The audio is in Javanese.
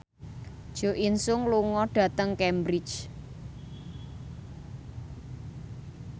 Jo In Sung lunga dhateng Cambridge